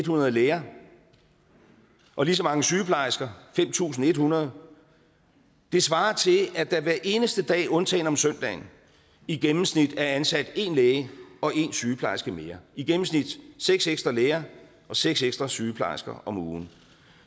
hundrede læger og lige så mange sygeplejersker fem tusind en hundrede det svarer til at der hver eneste dag undtagen om søndagen i gennemsnit er ansat en læge og en sygeplejerske mere i gennemsnit seks ekstra læger og seks ekstra sygeplejersker om ugen